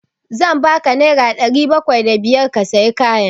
Zan ba ka naira ɗari bakwai da biyar ka sayi kayan.